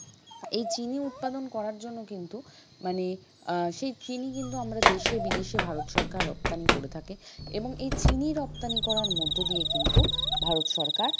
এই চিনি উৎপাদন করার জন্য কিন্তু মানে আহ সেই চিনি কিন্তু আমরা দেশে বিদেশে ভারত সরকার রপ্তানি করে থাকে এবং এই চিনি রপ্তানি করার মধ্য দিয়ে কিন্তু ভারত সরকার,